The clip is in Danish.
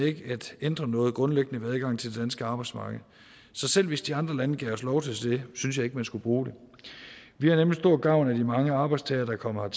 ikke at ændre noget grundlæggende ved adgangen til det danske arbejdsmarked så selv hvis de andre lande gav os lov til det synes jeg ikke man skulle bruge det vi har nemlig stor gavn af de mange arbejdstagere der kommer